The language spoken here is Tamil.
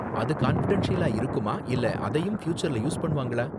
அது கான்ஃபிடென்ஷியலா இருக்குமா இல்ல அதையும் ஃப்யூச்சர்ல யூஸ் பண்ணுவாங்களா?